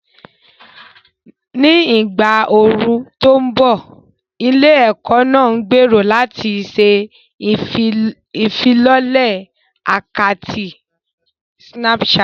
Ní ìgbà ooru tó ń bọ̀, ilé-ẹ̀kọ́ náà gbèrò láti ṣe ìfilọ́lẹ̀ àkátì Snapchat.